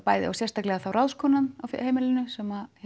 og sérstaklega ráðskonan á heimili sem